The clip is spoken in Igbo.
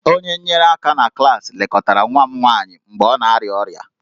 Onye nyere aka na klaasị lekọtara nwa m nwanyị mgbe ọ na-arịa ọrịa